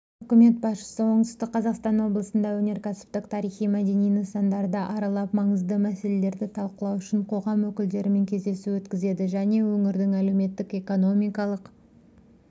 үкімет басшысы оңтүстік қазақстан облысында өнеркәсіптік тарихи-мәдени нысандарды аралап маңызды мәселелерді талқылау үшін қоғам өкілдерімен кездесу өткізеді және өңірдің әлеуметтік-экономикалық